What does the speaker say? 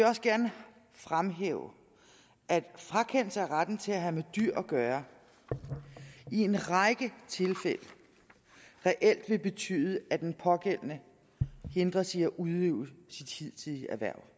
også gerne fremhæve at frakendelse af retten til at have med dyr at gøre i en række tilfælde reelt vil betyde at den pågældende hindres i at udøve sit hidtidige erhverv